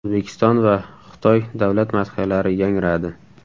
O‘zbekiston va Xitoy davlat madhiyalari yangradi.